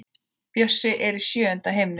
Bjössi er í sjöunda himni.